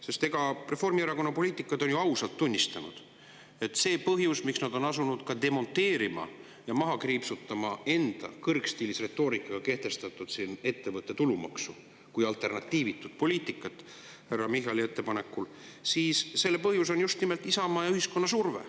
Sest Reformierakonna poliitikud on ju ausalt tunnistanud, et põhjus, miks nad on asunud demonteerima ja maha kriipsutama enda kõrgstiilis retoorikaga kehtestatud ettevõtte tulumaksu kui alternatiivitut poliitikat härra Michali ettepanekul, on just nimelt Isamaa ja ühiskonna surve.